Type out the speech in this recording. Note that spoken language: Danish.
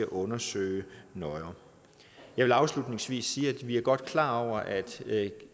undersøge nøjere jeg vil afslutningsvis sige at vi godt er klar over at